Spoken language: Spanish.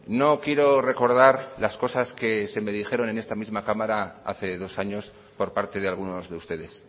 no quiero recordar las cosas que se me dijeron en esta misma cámara hace dos años por parte de algunos de ustedes